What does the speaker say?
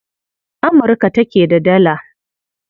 Amurka take da Dala.